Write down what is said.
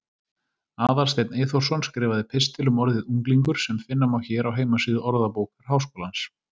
Aðalsteinn Eyþórsson skrifaði pistil um orðið unglingur sem finna má hér á heimasíðu Orðabókar Háskólans.